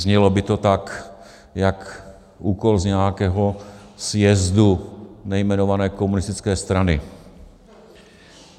Znělo by to tak jako úkol z nějakého sjezdu nejmenované komunistické strany.